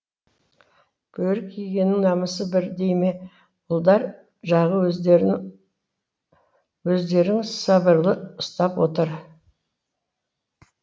бөрік кигеннің намысы бір дей ме ұлдар жағы өздерін сабырлы ұстап отыр